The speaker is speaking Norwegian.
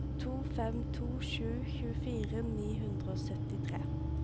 to fem to sju tjuefire ni hundre og syttitre